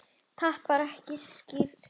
Tapar ekki styrk sínum.